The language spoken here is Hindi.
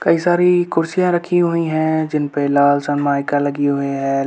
कई सारी कुर्सियाँ रखी हुई है जिनपे लाल सनमाइका लगी हुई है।